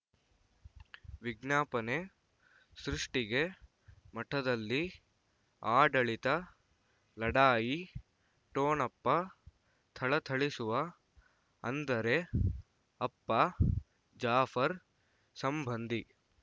ವಿಜ್ಞಾಪನೆ ಸೃಷ್ಟಿಗೆ ಮಠದಲ್ಲಿ ಆಡಳಿತ ಲಢಾಯಿ ಠೊಣಪ ಥಳಥಳಿಸುವ ಅಂದರೆ ಅಪ್ಪ ಜಾಫರ್ ಸಂಬಂಧಿ